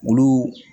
Olu